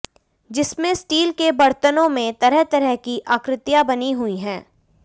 जिसमें स्टील के बर्तनों में तरह तरह की आकृतियां बनी हुई हैं